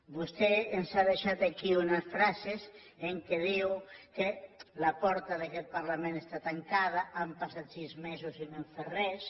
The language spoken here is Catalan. vostè ens ha deixat aquí unes frases en què diu que la porta d’aquest parlament està tancada han passat sis mesos i no han fet res